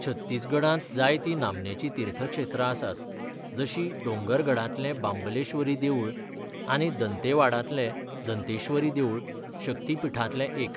छत्तीसगडांत जायतीं नामनेचीं तीर्थक्षेत्रां आसात, जशीं डोंगरगडांतलें बांबलेश्वरी देवूळ आनी दंतेवाडांतलें दंतेश्वरी देवूळ, शक्तीपीठांतलें एक.